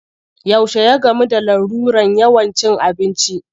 Yaushe ya gamu da larurar yawan cin abinci?